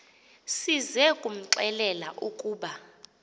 size kumxelela ukuba